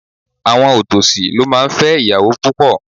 Àwọn òtòṣì ló máa ń fẹ́ ìyàwó púpọ̀.